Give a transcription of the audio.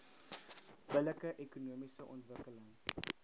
billike ekonomiese ontwikkeling